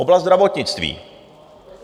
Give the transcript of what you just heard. Oblast zdravotnictví.